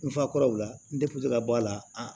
N fa kɔrɔw la n ka bɔ a la